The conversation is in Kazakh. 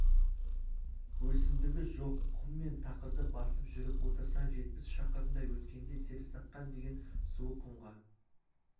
өсімдігі жоқ құм мен тақырды басып жүріп отырсаң жетпіс шақырымдай өткенде терісаққан деген суы құмға